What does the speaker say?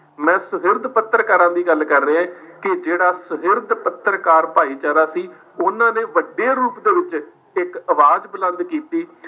ਮੈਂ ਸੁਹਿਰਦ ਪੱਤਰਕਾਰਾਂ ਦੀ ਗੱਲ ਕਰ ਰਿਹਾ ਕਿ ਜਿਹੜਾ ਸੁਹਿਰਦ ਪੱਤਰਕਾਰ ਭਾਈਚਾਰਾ ਸੀ, ਉਨ੍ਹਾਂ ਨੇ ਵੱਡੇ ਰੂਪ ਦੇ ਵਿੱਚ ਇੱਕ ਆਵਾਜ਼ ਬੁਲੰਦ ਕੀਤੀ